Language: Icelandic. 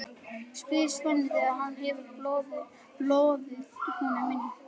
spyr Svenni þegar hann hefur boðið honum inn.